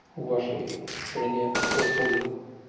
у вашей стране происходит